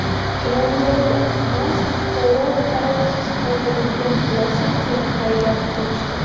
Chilonzorda mast fuqaro qarovsiz qoldirilgan Lacetti’ni haydab qochdi.